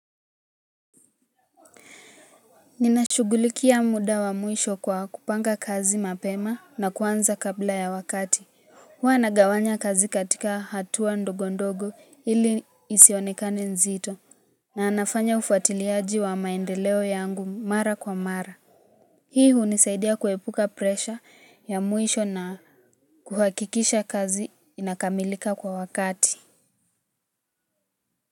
Ninashughulikia muda wa mwisho kwa kupanga kazi mapema na kuanza kabla ya wakati. Huwa nagawanya kazi katika hatua ndogo ndogo ili isionekane nzito. Na nafanya ufatiliaji wa maendeleo yangu mara kwa mara. Hii hunisaidia kuepuka presha ya mwisho na kuhakikisha kazi inakamilika kwa wakati.